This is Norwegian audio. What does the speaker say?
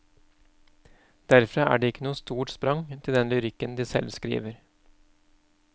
Derfra er det ikke noe stort sprang til den lyrikken de selv skriver.